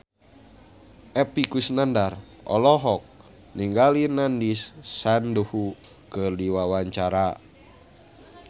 Epy Kusnandar olohok ningali Nandish Sandhu keur diwawancara